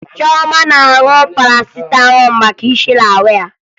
Chioma na-aṅụ Parasịtamọọ maka isi na-awa ya